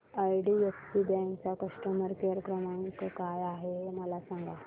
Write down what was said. IDFC bank चा customer care क्रमांक काय आहे हे मला सांगा